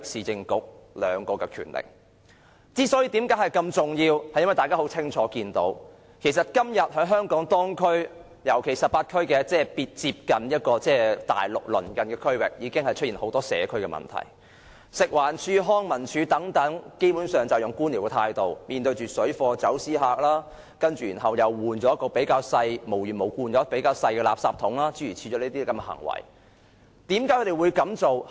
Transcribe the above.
這些權力之所以如此重要，是因為大家清楚看到，今天在香港18區已經出現很多社區問題，食物環境衞生署和康樂及文化事務署等基本上採取官僚態度來面對水貨和走私客，又無緣無故更換入口較小的垃圾箱，為何這些部門會這樣行事？